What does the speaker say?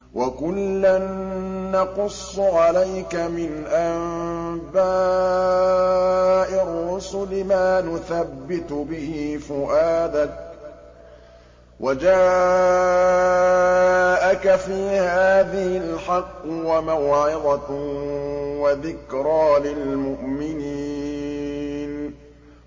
وَكُلًّا نَّقُصُّ عَلَيْكَ مِنْ أَنبَاءِ الرُّسُلِ مَا نُثَبِّتُ بِهِ فُؤَادَكَ ۚ وَجَاءَكَ فِي هَٰذِهِ الْحَقُّ وَمَوْعِظَةٌ وَذِكْرَىٰ لِلْمُؤْمِنِينَ